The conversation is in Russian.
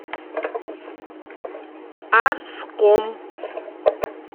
арском